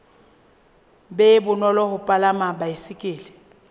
be bonolo ho palama baesekele